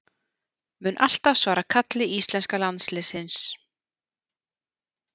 Mun alltaf svara kalli íslenska landsliðsins